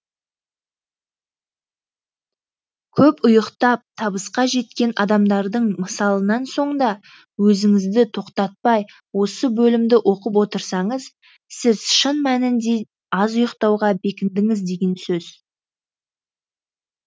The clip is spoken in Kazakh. көп ұйықтап табысқа жеткен адамдардың мысалынан соң да өзіңізді тоқтатпай осы бөлімді оқып отырсаңыз сіз шын мәнінде аз ұйықтауға бекіндіңіз деген сөз